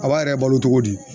A b'a yɛrɛ balo cogo di